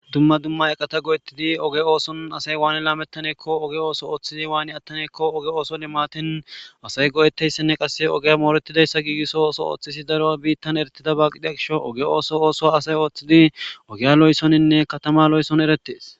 dumma dumma eqata go7ettidi oge ooson asay waani laamettaneekko oge ooso ooththidi waani attaneekko oge ooson imaatin asay go7eteyssenne qasse ogeya mooretidayssa giigisso ooso ooththisi daro biittan eretida ba qidia gisho oge ooso ooso asay ooththidi ogeya lo7esoninne katama lo7esson erettees